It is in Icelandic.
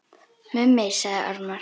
Mummi sagði ormar.